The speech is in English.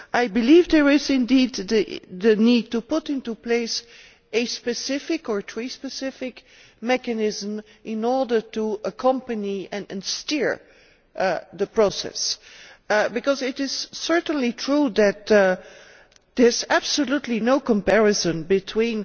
I believe there is indeed a need to put into place a specific or trade specific mechanism in order to accompany and steer the process, because it is certainly true that there is absolutely no comparison between